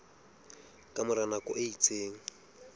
ka mora nako e itseng